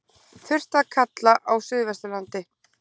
Þurrt að kalla á suðvesturlandi